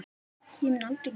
Ég mun aldrei gleyma þér.